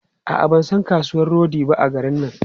A'a, ban san kasuwan rodi ba a garin nan.